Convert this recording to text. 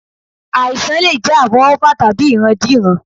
Àìsàn lè jẹ́ àfọwọ́fà tàbí ìrandíran